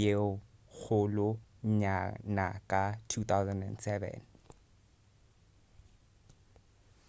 ye kgolo nyana ka 2007